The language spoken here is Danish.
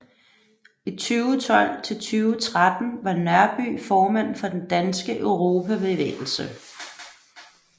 I 2012 til 2013 var Nørby formand for Den Danske Europabevægelse